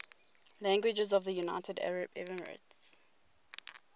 languages of the united arab emirates